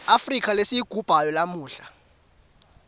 afrika lesiyigubhako lamuhla